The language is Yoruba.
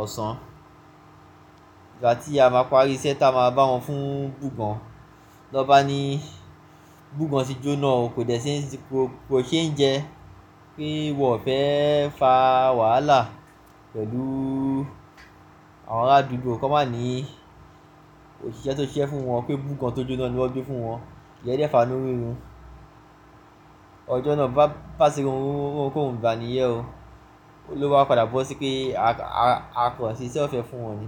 ọ̀sán. Ìgbà tí a máa pari iṣẹ́ tá a máa bá wọn fún bùgan. Lọ́ba ní bùgan ti jóná o, kò ṣe ń jẹ pé wọ́n fẹ́ fa wàhálà pẹ̀lú àwọn arádùúgbò. Ko máa ní òṣìṣẹ́ tó ṣiṣẹ́ fún wọn pé bùgan tó jóná ni wọ́n gbé fún wọn. Ìyen de fàá inù rirun. Ọjọ́ náà bá ṣerun rú kò rùn, gbani yẹ́ o. Olúwa padà bọ́ sí pé akàn ṣíṣe o fẹ́ fún wọn ni.